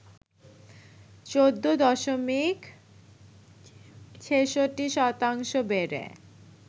১৪ দশমিক ৬৬ শতাংশ বেড়ে